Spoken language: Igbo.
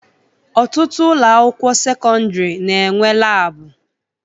Ọtụtụ ụlọakwụkwọ sekọndịrị na-enwe laabụ